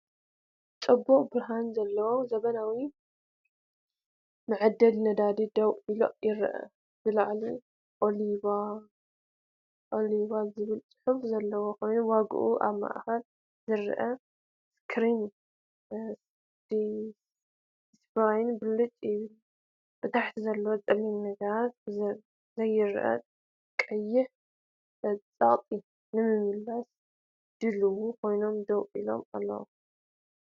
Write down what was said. ጽቡቕ ብርሃን ዘለዎ ዘመናዊ መዐደሊ ነዳዲ ደው ኢሉ ይርአ። ብላዕሊ 'OiLibya' ዝብል ጽሑፍ ዘለዎ ኮይኑ ዋጋኡን ኣብ ማእከል ዝርአ ስክሪን ዲስፕለይን ብልጭ ይብል። ታሕቲ ዘለዉ ጸለምቲ ነገራት ብዝርአ ቀይሕ ጸቕጢ ንምምላእ ድሉዋት ኮይኖም ደው ኢሎም ኣለዉ።